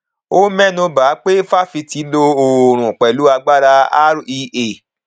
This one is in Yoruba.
ó mẹnu ba pé fáfitì lo oòrùn pẹlú agbára rea